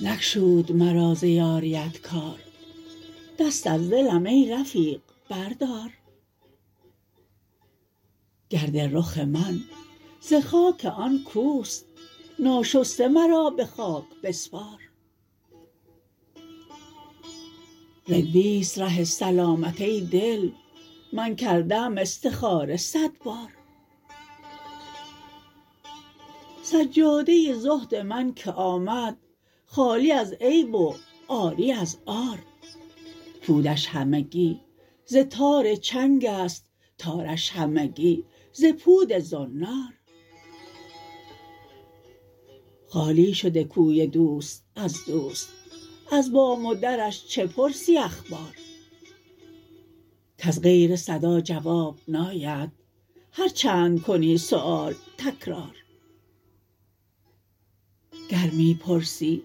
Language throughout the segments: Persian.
نگشود مرا ز یاریت کار دست از دلم ای رفیق بردار گرد رخ من ز خاک آن کوست ناشسته مرا به خاک بسپار رندیست ره سلامت ای دل من کرده ام استخاره صد بار سجاده زهد من که آمد خالی از عیب و عاری از عار پودش همگی ز تار چنگ است تارش همگی ز پود زنار خالی شده کوی دوست از دوست از بام و درش چه پرسی اخبار کز غیر صدا جواب ناید هرچند کنی سؤال تکرار گر می پرسی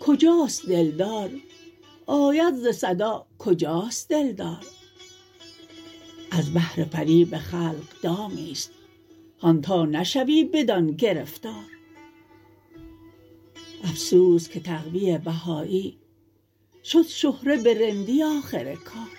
کجاست دلدار آید ز صدا کجاست دلدار از بهر فریب خلق دامی است هان تا نشوی بدان گرفتار افسوس که تقوی بهایی شد شهره به رندی آخر کار